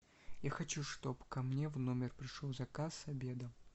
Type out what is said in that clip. я хочу чтоб ко мне в номер пришел заказ обеда